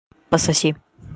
пососи